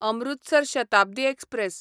Amritsar Shatabdi express